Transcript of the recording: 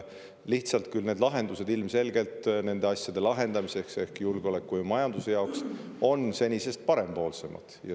Küll aga on need lahendused julgeoleku ja majanduse jaoks ilmselgelt senisest parempoolsemad.